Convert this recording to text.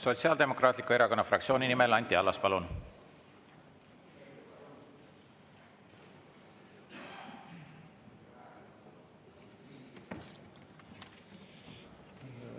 Sotsiaaldemokraatliku Erakonna fraktsiooni nimel Anti Allas, palun!